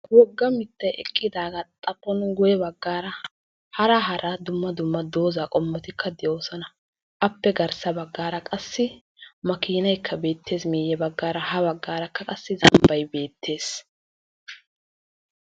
woogga miittay eqqidaagaa xaaphon guuyye baggaara hara hara dumma dumma doozzaa qommotikka de'oosona. appe garssa baggaara qassi maakinaaykka beettees miiyye baaggaara ha baggaara qaassi zambbay beettees.